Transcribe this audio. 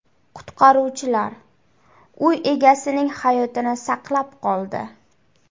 Qutqaruvchilar uy egasining hayotini saqlab qoldi.